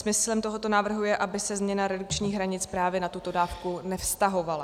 Smyslem tohoto návrhu je, aby se změna redukčních hranic právě na tuto dávku nevztahovala.